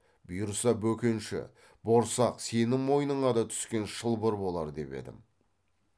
бұйырса бөкенші борсақ сенің мойныңа да түскен шылбыр болар деп едің